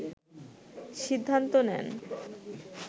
সিদ্ধান্ত নেন